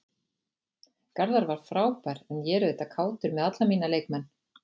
Garðar var frábær en ég er auðvitað kátur með alla mína leikmenn.